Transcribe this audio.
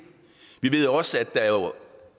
vi ved også at der jo